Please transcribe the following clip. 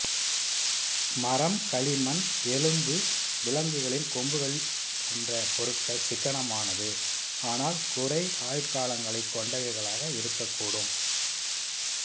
மரம் களிமண் எலும்பு விலங்குகளின் கொம்புகள் போன்ற பொருட்கள் சிக்கனமானது ஆனால் குறை ஆயுட்காலங்களைக் கொண்டவைகளாக இருக்கக்கூடும்